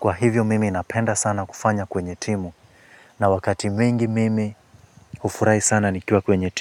Kwa hivyo mimi inapenda sana kufanya kwenye timu. Na wakati mwingi mimi hufurahi sana nikiwa kwenye timu.